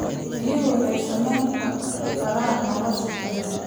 Biyuhu waxay saamayn karaan nolosha biyaha.